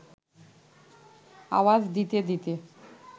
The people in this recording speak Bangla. আওয়াজ দিতে দিতে